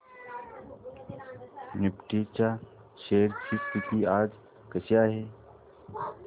Nifty च्या shares ची स्थिती आज कशी आहे